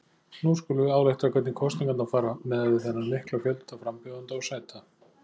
Nú skulum við álykta hvernig kosningarnar fara miðað við þennan mikla fjölda frambjóðenda og sæta.